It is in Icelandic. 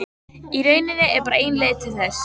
Í rauninni er bara ein leið til þess.